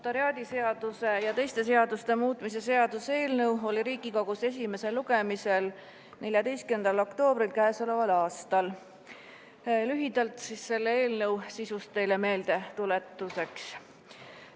Notariaadiseaduse ja teiste seaduste muutmise seaduse eelnõu oli Riigikogus esimesel lugemisel 14. oktoobril k.a. Lühidalt selle eelnõu sisust teile meeldetuletuseks.